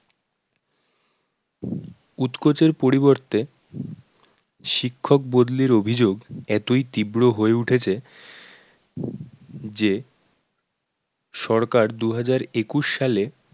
উৎকোচের পরিবর্তে শিক্ষক বদলির অভিযোগ এতই তীব্র হয়ে উঠেছে যে সরকার দু হাজার একুশ সালে